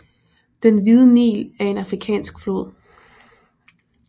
Den Hvide Nil er en afrikansk flod